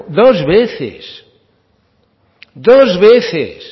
dos veces dos veces